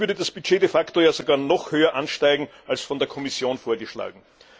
Dadurch würde das Budget de facto ja noch höher ansteigen, als von der Kommission vorgeschlagen.